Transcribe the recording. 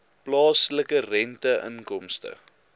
plaaslike rente inkomste